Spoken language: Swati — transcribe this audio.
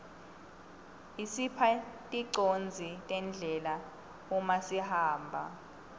isipha ticondziso tendlela uma sihamba